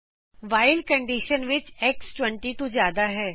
while condition ਵਿੱਚ x 20 ਤੋ ਜਿਆਦਾ ਹੈ